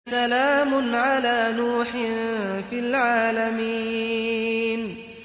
سَلَامٌ عَلَىٰ نُوحٍ فِي الْعَالَمِينَ